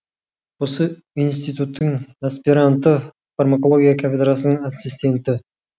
осы институттың аспиранты фармакология кафедрасының ассистенті